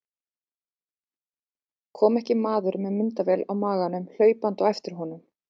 Kom ekki maður með myndavél á maganum hlaupandi á eftir honum.